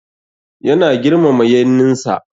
Yana girmama yanninsa.